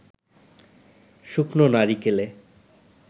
শুকনো নারিকেলে